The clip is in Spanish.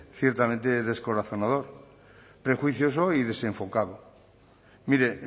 ciertamente descorazonador prejuicioso y desenfocado mire